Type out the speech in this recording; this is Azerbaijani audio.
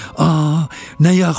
A, nə yaxşı oldu!